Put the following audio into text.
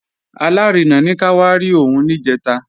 Alárinà ní ká wá rí òun níjẹ̀ta